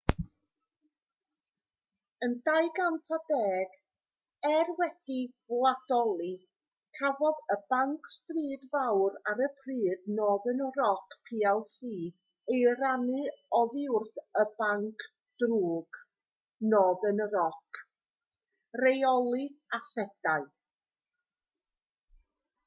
yn 2010 er wedi'i wladoli cafodd y banc stryd fawr ar y pryd northern rock plc ei rannu oddi wrth y banc drwg northern rock rheoli asedau